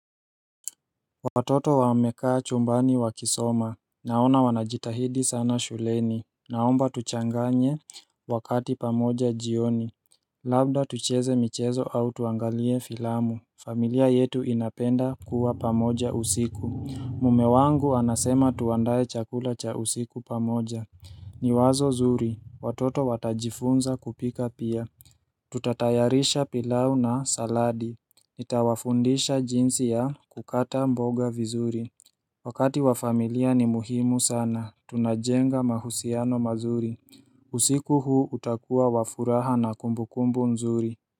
Watoto wamekaa chumbani wakisoma Naona wanajitahidi sana shuleni Naomba tuchanganye wakati pamoja jioni Labda tucheze michezo au tuangalie filamu familia yetu inapenda kuwa pamoja usiku Mme wangu anasema tuandae chakula cha usiku pamoja ni wazo zuri watoto watajifunza kupika pia Tutatayarisha pilau na saladi Nitawafundisha jinsi ya kukata mboga vizuri Wakati wa familia ni muhimu sana, tunajenga mahusiano mazuri usiku huu utakuwa wa furaha na kumbukumbu nzuri.